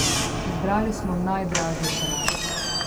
Izbrali smo najdražjo čelado.